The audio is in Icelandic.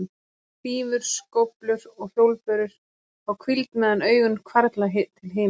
Hrífur, skóflur og hjólbörur fá hvíld meðan augun hvarfla til himins.